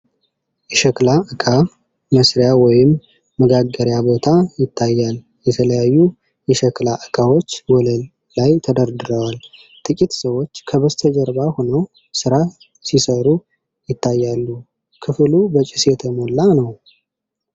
የሸክላ ዕቃ መሥሪያ ወይም መጋገርያ ቦታ ይታያል:: የተለያዩ የሸክላ ዕቃዎች ወለል ላይ ተደርድረዋል:: ጥቂት ሰዎች ከበስተጀርባ ሆነው ሥራ ሲሠሩ ይታያሉ:: ክፍሉ በጭስ የተሞላ ነው::